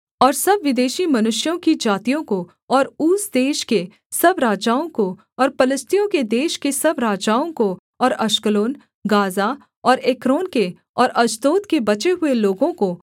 और सब विदेशी मनुष्यों की जातियों को और ऊस देश के सब राजाओं को और पलिश्तियों के देश के सब राजाओं को और अश्कलोन गाज़ा और एक्रोन के और अश्दोद के बचे हुए लोगों को